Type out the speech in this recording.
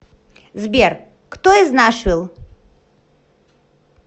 сбер кто из нашвилл